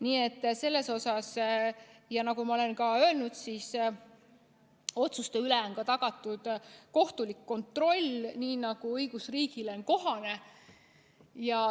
Nii et selles suhtes, nagu ma olen ka öelnud, on otsuste üle tagatud kohtulik kontroll, nii nagu on õigusriigile kohane.